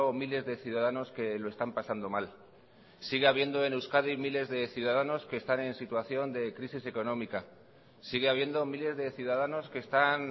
miles de ciudadanos que lo están pasando mal sigue habiendo en euskadi miles de ciudadanos que están en situación de crisis económica sigue habiendo miles de ciudadanos que están